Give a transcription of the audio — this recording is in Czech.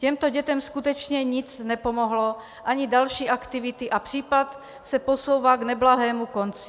Těmto dětem skutečně nic nepomohlo, ani další aktivity, a případ se posouvá k neblahému konci.